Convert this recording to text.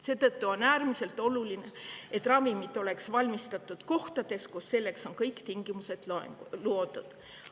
Seetõttu on äärmiselt oluline, et ravimid oleks valmistatud kohtades, kus selleks on kõik tingimused loodud.